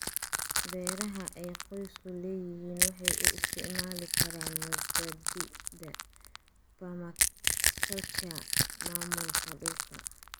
Beeraha ay qoysku leeyihiin waxay u isticmaali karaan mabaadi'da permaculture maamulka dhulka.